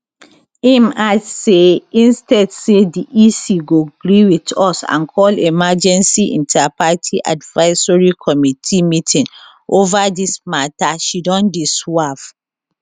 im add say instead say di ec go gree wit us and call emergency interparty advisory committee meeting ova dis mata she don dey swerve